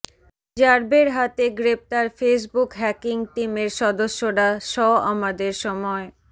র্যাবের হাতে গ্রেপ্তার ফেসবুক হ্যাকিং টিমের সদস্যরা ষ আমাদের সময়